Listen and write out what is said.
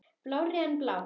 Blárri en blá.